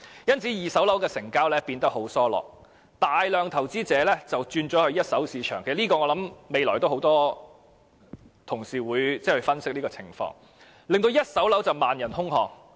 因此，二手住宅物業的成交變得疏落，大量投資者轉往一手住宅物業市場——我想很多同事稍後會分析這種情況——令一手住宅物業市場萬人空巷。